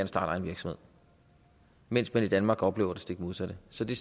starte egen virksomhed mens man i danmark oplever det stik modsatte så det